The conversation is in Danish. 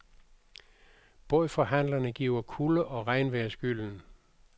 Bådforhandlerne giver kulde og regnvejr skylden.